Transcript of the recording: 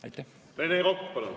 Rene Kokk, palun!